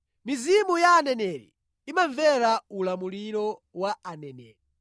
Mizimu ya aneneri imamvera ulamuliro wa aneneri.